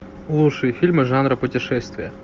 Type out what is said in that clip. лучшие фильмы жанра путешествия